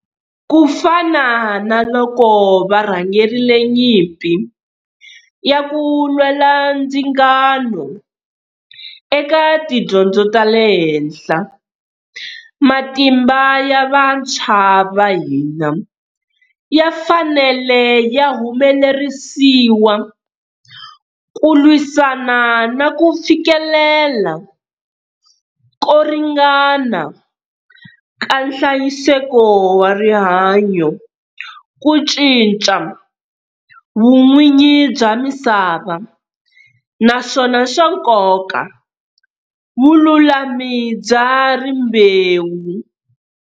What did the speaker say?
Ku fana na loko varhangerile nyimpi ya ku lwela ndzingano eka tidyondzo ta le henhla, matimba ya vantshwa va hina ya fanele ya humelerisiwa ku lwisana na ku fikelela ko ringana ka nhlayiseko wa rihanyo, ku cinca vun'wini bya misava, naswona swa nkoka, vululami bya rimbewu.